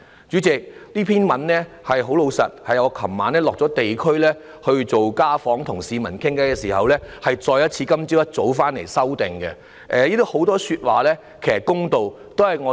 主席，這篇發言稿是我昨天落區進行家訪與市民聊天後，今天早上回來再作修改的，當中很多都是公道的說話。